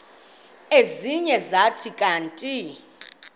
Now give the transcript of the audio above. ezinye zathi kanti